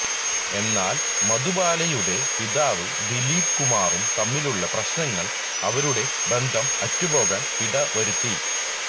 എന്നാൽ മധുബാലയുടെ പിതാവും ദിലീപ് കുമാറും തമ്മിലുള്ള പ്രശ്നങ്ങൾ അവരുടെ ബന്ധം അറ്റു പോകാൻ ഇട വരുത്തി